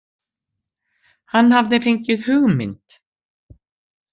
Hann hafði fengið hugmynd.